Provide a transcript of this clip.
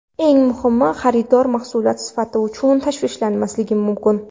Eng muhimi – xaridor mahsulot sifati uchun tashvishlanmasligi mumkin.